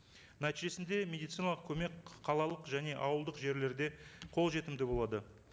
нәтижесінде медициналық көмек қалалық және ауылдық жерлерде қолжетімді болады